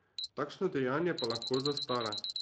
Takšno dejanje pa lahko zastara.